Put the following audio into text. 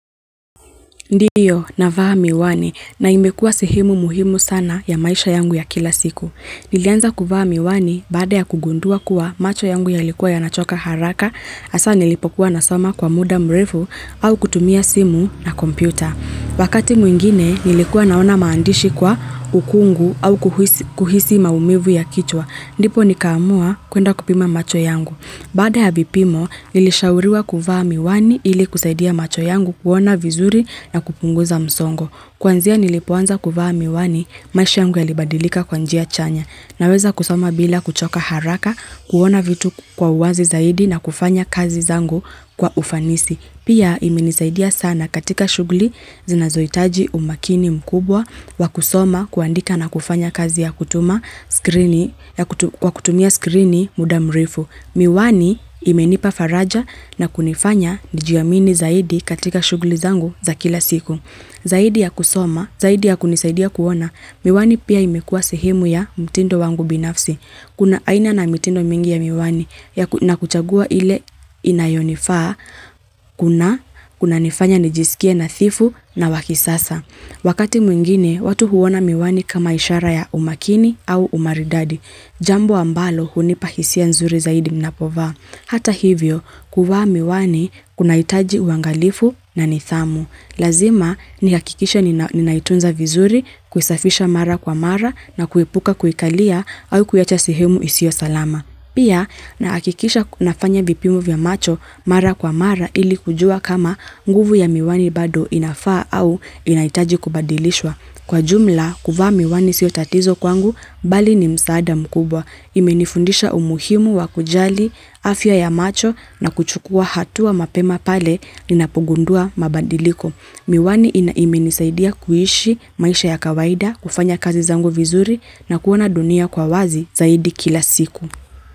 Ndiyo, navaa miwani na imekuwa sehemu muhimu sana ya maisha yangu ya kila siku. Nilianza kuvaa miwani baada ya kugundua kuwa macho yangu yalikuwa yanachoka haraka hasa nilipokuwa nasoma kwa muda mrefu au kutumia simu na kompyuta. Wakati mwingine nilikuwa naona maandishi kwa ukungu au kuhisi maumivu ya kichwa. Ndipo nikaamua kuenda kupima macho yangu. Baada ya vipimo nilishauriwa kuvaa miwani ili kusaidia macho yangu kuona vizuri na kupunguza msongo. Kwanzia nilipoanza kuvaa miwani maisha yangu yalibadilika kwa njia chanya. Naweza kusoma bila kuchoka haraka, kuona vitu kwa uwazi zaidi na kufanya kazi zangu kwa ufanisi. Pia imenisaidia sana katika shughuli zinazohitaji umakini mkubwa wa kusoma, kuandika na kufanya kazi ya kutumia skrini muda mrefu. Miwani imenipa faraja na kunifanya nijiamini zaidi katika shughuli zangu za kila siku. Zaidi ya kusoma, zaidi ya kunisaidia kuona, miwani pia imekua sehemu ya mtindo wangu binafsi. Kuna aina na mitindo mingi ya miwani. Na kuchagua ile inayonifaa kuna kunanifanya nijisikie nadhifu na wa kisasa. Wakati mwingine watu huona miwani kama ishara ya umakini au umaridadi. Jambo ambalo hunipa hisia nzuri zaidi ninapovaa. Hata hivyo kuvaa miwani kunahitaji uangalifu na nidhamu. Lazima nihakikishe ninaitunza vizuri, kuisafisha mara kwa mara na kuepuka kuikalia au kuiacha sehemu isiyo salama. Pia nahakikisha nafanya vipimo vya macho mara kwa mara ili kujua kama nguvu ya miwani bado inafaa au inahitaji kubadilishwa. Kwa jumla kuvaa miwani siyo tatizo kwangu bali ni msaada mkubwa. Imenifundisha umuhimu wa kujali afya ya macho na kuchukua hatua mapema pale ninapogundua mabadiliko. Miwani ina imenisaidia kuishi, maisha ya kawaida, kufanya kazi zangu vizuri na kuona dunia kwa wazi zaidi kila siku.